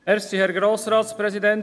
Die Regierung lehnt sie ab.